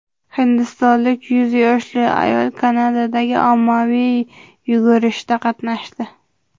Hindistonlik yuz yoshli ayol Kanadadagi ommaviy yugurishda qatnashdi.